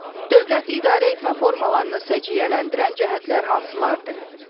Dövlət idarəetmə formalarını səciyyələndirən cəhətlər hansılardır?